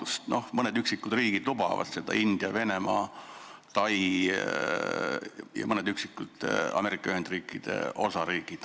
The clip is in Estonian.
Seda lubavad mõned üksikud riigid, näiteks India, Venemaa ja Tai, samuti mõned üksikud Ameerika Ühendriikide osariigid.